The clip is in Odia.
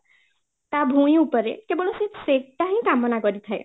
ତା ଭୂଇଁ ଉପରେ କେବଳ ସେ ସେଟା ହି କାମନା କରିଥାଏ